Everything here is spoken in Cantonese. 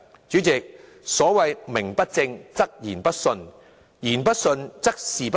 主席，所謂"名不正，則言不順，言不順，則事不成"。